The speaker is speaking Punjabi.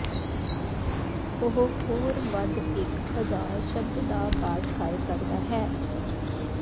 ਉਹ ਹੋਰ ਵੱਧ ਇੱਕ ਹਜ਼ਾਰ ਸ਼ਬਦ ਦਾ ਪਾਠ ਕਰ ਸਕਦਾ ਹੈ